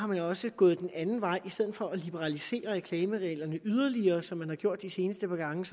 man jo også gået den anden vej i stedet for at liberalisere reklamereglerne yderligere som man har gjort de seneste par gange